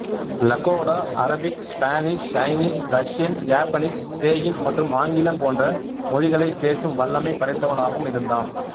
Lakota Arabic Spanish Chinese Russian Japanese Cheyenne மற்றும் ஆங்கிலம் போன்ற மொழிகளைப் பேசும் வல்லமை படைத்தவனாகவும் இருந்தான்